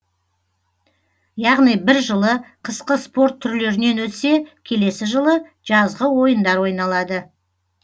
яғни бір жылы қысқы спорт түрлерінен өтсе келесі жылы жазғы ойындар ойналады